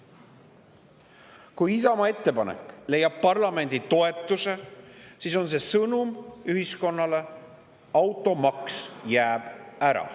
Kui Isamaa ettepanek leiab parlamendi toetuse, siis on see sõnum ühiskonnale: automaks jääb ära.